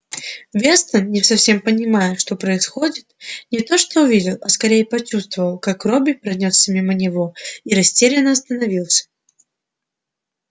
вестон не совсем понимая что происходит не то что увидел а скорее почувствовал как робби пронёсся мимо него и растерянно остановился